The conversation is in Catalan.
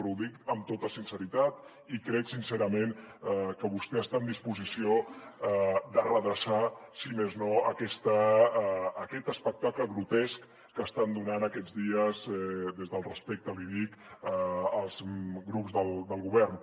però ho dic amb tota sinceritat i crec sincerament que vostè està en disposició de redreçar si més no aquest espectacle grotesc que estan donant aquests dies des del respecte l’hi dic els grups del govern